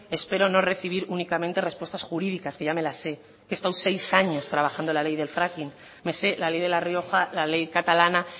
espero no recibir únicamente respuestas jurídicas que ya me las sé he estado seis años trabajando la ley del fracking me sé la ley de la rioja la ley catalana